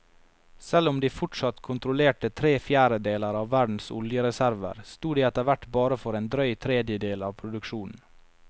Selv om de fortsatt kontrollerte tre fjerdedeler av verdens oljereserver, sto de etterhvert bare for en drøy tredjedel av produksjonen.